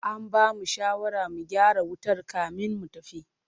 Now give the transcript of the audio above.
An bamu shawarar mu gyara wutar kamin mu tafi.